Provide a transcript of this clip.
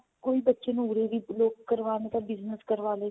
ਕੋਈ ਬੱਚੇ ਨੂੰ ਉਰੇ ਵੀ ਕਰਵਾਉਣ ਨੂੰ ਤਾਂ business ਕਰਵਾਲੇ.